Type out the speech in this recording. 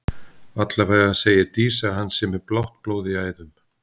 Allavega segir Dísa að hann sé með blátt blóð í æðum.